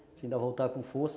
Se ainda voltar com força...